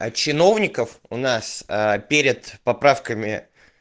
а чиновников у нас аа перед поправками